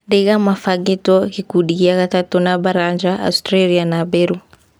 Ndaiga mabangĩtwo gĩkundi gĩa gatatũ na Baranja, Austria na Beru.